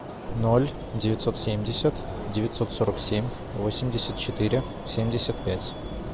ноль девятьсот семьдесят девятьсот сорок семь восемьдесят четыре семьдесят пять